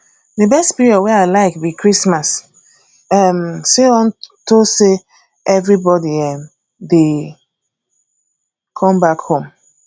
the best period wey i like be christmas um unto say everybody um dey come back home